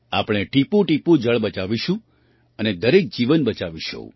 આપણે ટીપુંટીપું જળ બચાવીશું અને દરેક જીવન બચાવીશું